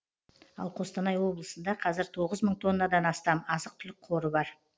ал қостанай облысында қазір тоғыз мың тоннадан астам азық түлік қоры бар